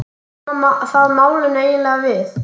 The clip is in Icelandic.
Hvað koma það málinu eiginlega við?